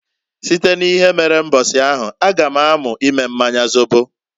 Site n'ihe mere mbosi ahụ a ga m amu ime mmanya zobo.